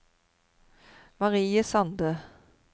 Marie Sande